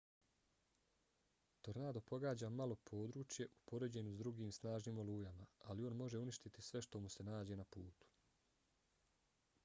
tornado pogađa malo područje u poređenju s drugim snažnim olujama ali on može uništiti sve što mu se nađe na putu